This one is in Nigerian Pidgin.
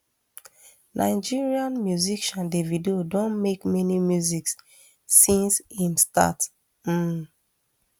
nigerian musician davido don make many music since im start um